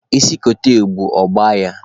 Isi kote ebu, ọ gbaa ya!